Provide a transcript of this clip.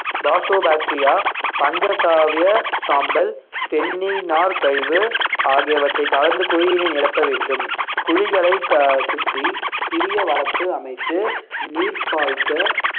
bacteria பஞ்சகாவிய சாம்பல் தென்னை நார் கழிவு ஆகியவற்றை கலந்து குழியினை நிரப்ப வேண்டும் குழிகளை க~ சுற்றி சிறிய வரப்பு அமைத்து நீர் பாய்ச்ச